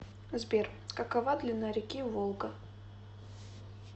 сбер какова длина реки волга